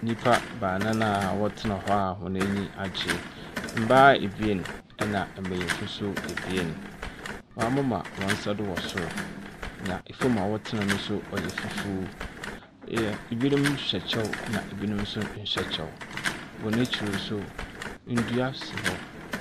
Nnipa baanan a wɔtena hɔ a hɔn anyi agye. Mbaa abien, na mbenyimfo nso abien. Wɔn amema hɔn nsa do wɔ sor. Na fam a wɔtenae nso yɛ fufu. Ebinom hyɛ kyɛw na ebinom nso kyɛw. Hɔn akyir nso dua si hɔ.